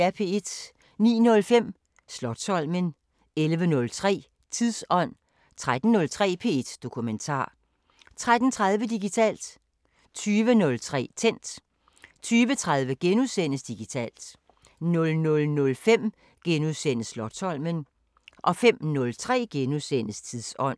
09:05: Slotsholmen 11:03: Tidsånd 13:03: P1 Dokumentar 13:30: Digitalt 20:03: Tændt 20:30: Digitalt * 00:05: Slotsholmen * 05:03: Tidsånd *